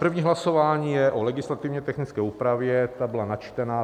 První hlasování je o legislativně technické úpravě, ta byla načtena.